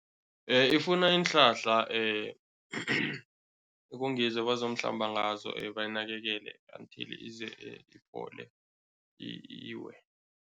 Ifuna iinhlahla ekungizo ebazomhlamba ngazo bayinakekele until ize iphole, iwe.